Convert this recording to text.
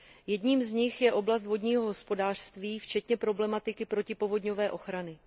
Jedním z nich je oblast vodního hospodářství včetně problematiky protipovodňové ochrany.